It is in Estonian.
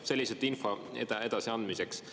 See on lihtsalt info edasiandmiseks.